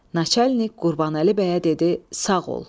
Naçalnik Qurbanəli bəyə dedi: Sağ ol.